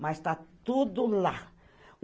Mas tá tudo lá.